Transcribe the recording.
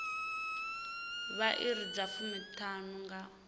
vha iri dza fumiṱhanu nga